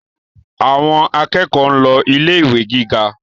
Àwọn akẹ́kọ̀ọ́ ń lọ ilé ìwé gíga